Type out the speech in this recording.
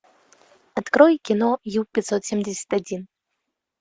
открой кино ю пятьсот семьдесят один